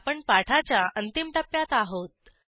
आपण पाठाच्या अंतिम टप्प्यात आहोत